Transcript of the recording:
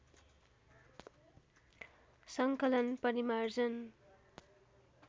सङ्कलन परिमार्जन